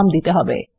এর নাম দিতে হবে